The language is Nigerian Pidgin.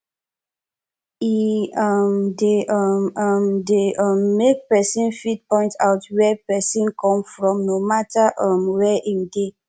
e um de um um de um make persin fit point out where persin come from no matter um where im de